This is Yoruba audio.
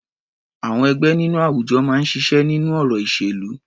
Àwọn ẹgbẹ́ nínú àwùjọ máa ń ṣiṣẹ́ nínú ọ̀rọ̀ ìṣèlú.